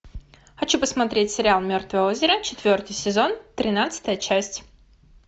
хочу посмотреть сериал мертвое озеро четвертый сезон тринадцатая часть